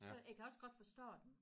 Så jeg kan også godt forstå dem